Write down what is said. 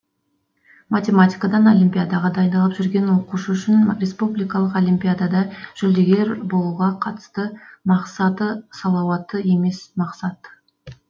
математикадан олимпиадаға дайындалып жүрген оқушы үшін республикалық олимпиадада жүлдегер болуға қатысты мақсаты салауатты емес мақсат